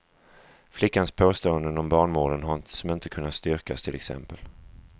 Flickans påståenden om barnmorden som inte kunnat styrkas, till exempel.